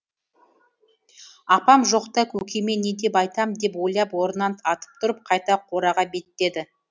апам жоқта көкеме не деп айтам деп ойлап орнынан атып тұрып қайта қораға беттеді